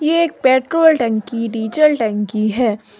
ये एक पेट्रोल टंकी डीजल टंकी है।